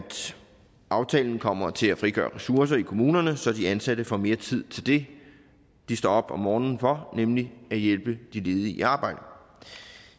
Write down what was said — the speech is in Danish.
aftalen kommer til at frigøre ressourcer i kommunerne så de ansatte får mere tid til det de står op om morgenen for nemlig at hjælpe de ledige i arbejde og